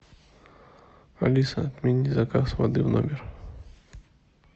алиса отмени заказ воды в номер